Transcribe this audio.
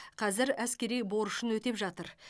қазір әскери борышын өтеп жатыр